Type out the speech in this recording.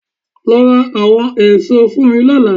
Lọ ra àwọn èso fún mi lọ́la